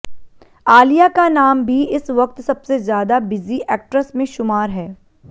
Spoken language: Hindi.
आलिया का नाम भी इस वक्त सबसे ज्यादा बिजी एक्ट्रेस में शुमार है